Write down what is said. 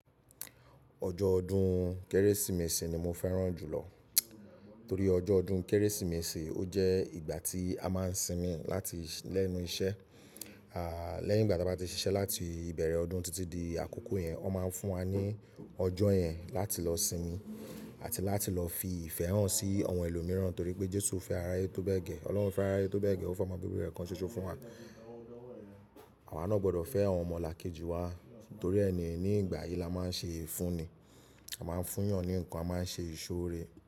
Ọjọ́ ọdún Kérésìmesì ni mo fẹ́ràn jùlọ torí ọjọ́ ọdún Kérésìmesì ó jẹ́ ìgbà tí a máa ń sinmi láti lẹ́nu iṣẹ́. Lẹ́yìn ìgbà tí a bá ti ṣiṣẹ́ láti ìbẹ̀rẹ̀ ọdún títí di àkókò yẹn, wọ́n máa ń fún wa ní ọjọ́ yẹn láti lọ sinmi àti láti lọ fi ìfẹ́ hàn sí àwọn ẹlòmíràn torí pé Jésù fẹ́ ara ẹ tó bẹ́ẹ̀ gẹ́, Ọlọ́run fẹ́ ara ẹ tó bẹ́ẹ̀ gẹ́, ó fẹ́ ọmọ bíbí rẹ̀ kan ṣoṣo fún wa. Àwa náà gbọdọ̀ fẹ́ àwọn ọmọlàkejì wa torí ẹ ni ní ìgbà yìí la máa ń ṣe ìfúnni, a máa ń fún yàn ní ǹkan, a máa ń ṣe ìsọ́-ore.